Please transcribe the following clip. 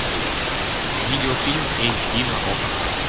видеофильм эйч ди на окко